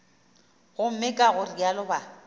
gomme ka go realo ba